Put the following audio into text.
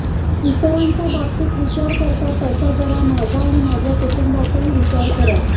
इतरांच्या बाबतीत विचार करता तसा जरा माझा व माझ्या कुटुंबाचाही विचार करा